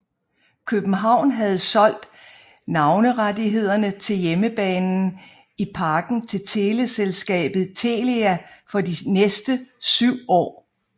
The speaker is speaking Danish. København havde solgt navnerettighederne til hjemmebanen i Parken til teleselskabet Telia for de næste syv år